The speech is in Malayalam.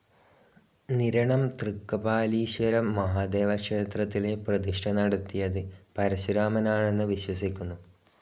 നിരണം തൃക്കപാലീശ്വരം മഹാദേവക്ഷേത്രത്തിലെ പ്രതിഷ്ഠ നടത്തിയത് പരശുരാമനാണന്നു വിശ്വസിക്കുന്നു.